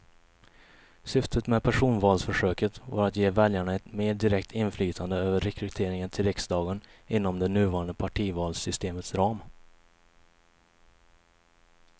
Syftet med personvalsförsöket var att ge väljarna ett mer direkt inflytande över rekryteringen till riksdagen inom det nuvarande partivalssystemets ram.